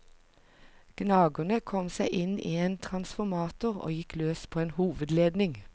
Gnageren kom seg inn i en transformator og gikk løs på en hovedledning.